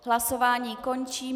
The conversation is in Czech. Hlasování končím.